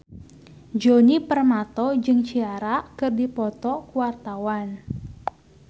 Djoni Permato jeung Ciara keur dipoto ku wartawan